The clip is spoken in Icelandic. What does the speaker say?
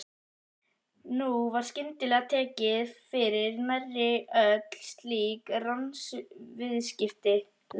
Nú var skyndilega tekið fyrir nærri öll slík lánsviðskipti.